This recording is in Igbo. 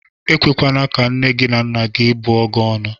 E kwekwana ka nne na nna gị bụọ gị ọnụ!